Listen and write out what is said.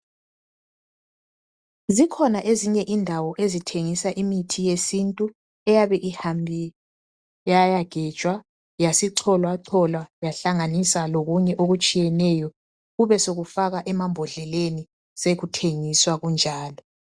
Zikhona ezinye indawo ezithengisa imithi yesintu eyabe ihambe yayagejwa, yasicholwacholwa, yahlanganiswa lokunye okutshiyeneyo kube sokufakwa emembodleleni, kube sokuthengiswa kunjalo.